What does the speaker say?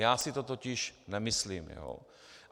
Já si to totiž nemyslím.